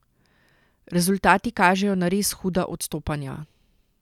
Rezultati kažejo na res huda odstopanja.